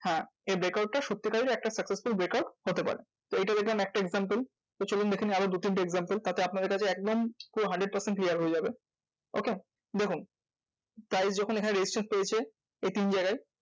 হ্যাঁ এই break out টা সত্যিকারের একটা successful break out হতে পারে। তো এইটা দেখলাম একটা example. তো চলুন দেখে নিই আরো দু তিনটে example তাতে আপনাদের কাছে পুরো hundred percent clear হয়ে যাবে। okay? দেখুন price যখন এখানে resistance পেয়েছে, এই তিন জায়গায়?